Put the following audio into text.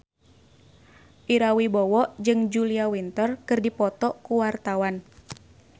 Ira Wibowo jeung Julia Winter keur dipoto ku wartawan